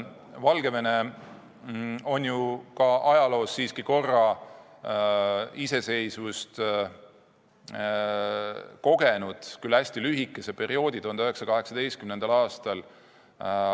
Valgevene on ajaloos siiski korra iseseisvust kogenud, küll hästi lühikest aega, 1918. aastal.